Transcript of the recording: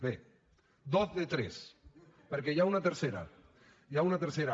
bé dos de tres perquè n’hi ha una tercera n’hi ha una tercera